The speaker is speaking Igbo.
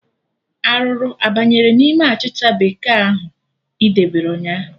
Arụrụ abanyere n'ime achịcha bekee ahụ ị debere ụnyaahụ?